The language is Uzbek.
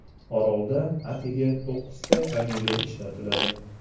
Orolda atigi to‘qqizta familiya ishlatiladi.